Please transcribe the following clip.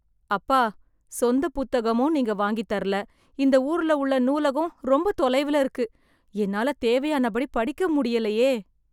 அப்பா, சொந்த புத்தகமும் நீங்க வாங்கித் தரல. இந்த ஊர்ல உள்ள நூலகம் ரொம்ப தொலைவில இருக்கு. என்னால தேவையானபடி படிக்க முடியலையே.